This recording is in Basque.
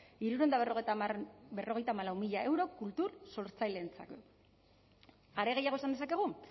hirurehun eta berrogeita hamalau mila euro kultur sortzaileentzat are gehiago esan dezakegu